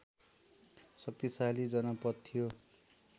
शक्तिशाली जनपद थियो